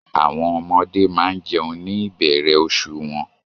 Àwọn ọmọdé máa ń jẹun ní ìbẹ̀rẹ̀ oṣù wọn